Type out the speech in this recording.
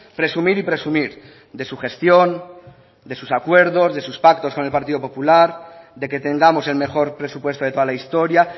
presumir y presumir de su gestión de sus acuerdos de sus pactos con el partido popular de que tengamos el mejor presupuesto de toda la historia